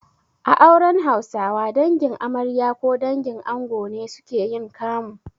A auren Hausawa, Dangin amarya ko dangin ango ne suke yin kamu.